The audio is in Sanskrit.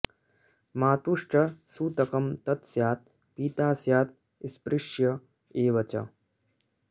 मातुश्च सूतकं तत् स्यात् पिता स्यात् स्पृश्य एव च